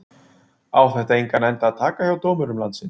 Á þetta engan endi að taka hjá dómurum landsins?